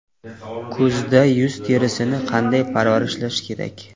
Kuzda yuz terisini qanday parvarishlash kerak?.